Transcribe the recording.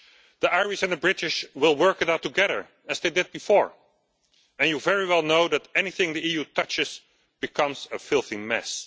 The Irish and the British will work it out together as they did before and you very well know that anything the EU touches becomes a filthy mess.